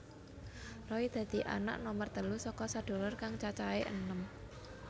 Roy dadi anak nomer telu saka sedulur kang cacahé enem